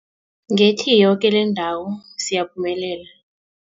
Ngethi, yoke lendawo siyaphumelela.